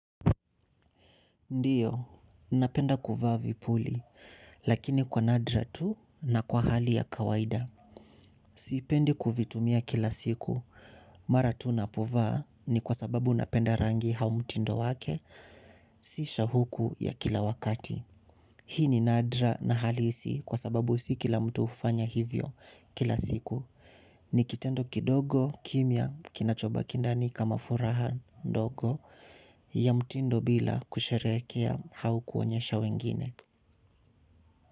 Ndiyo, napenda kuvaa vipuli, lakini kwa nadra tu na kwa hali ya kawaida. Sipendi kuvitumia kila siku, mara tu napo vaa ni kwa sababu napenda rangi hau mtindo wake, sisha huku ya kila wakati. Hii ni nadra na halisi kwa sababu si kila mtu hufanya hivyo kila siku. Ni kitendo kidogo kimia kinachobaki ndani kama furaha ndogo ya mtindo bila kusherekea hau kuonyesha wengine.